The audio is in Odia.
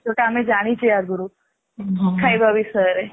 ଯୋଉଟା ଆମେ ଜାଣିଛେ ଆଗରୁ ଖାଇବା ବିଷୟରେ